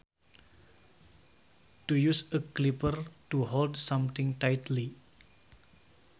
To use a clipper to hold something tightly